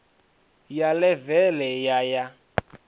ya ḽeve ḽe ya ya